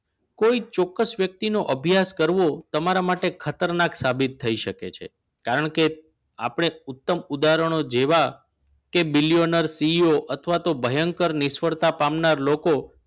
કોઈ ચોક્કસ વ્યક્તિનો અભ્યાસ કરો તમારા માટે ખતરનાક સાબિત થઈ શકે છે કારણ કે આપને ઉત્તમ ઉદાહરણો જેવા કે billionaireCEO અથવા તો ભયંકર નિષ્ફળતા પામનાર લોકો